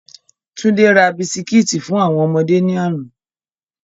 Túndé ra Bisikíìtì fún àwọn ọmọdé ní àná.